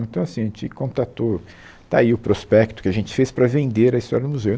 Então, assim, a gente contatou... Está aí o prospecto que a gente fez para vender a história do museu.